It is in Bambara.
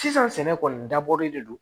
Sisan sɛnɛ kɔni dabɔlen de don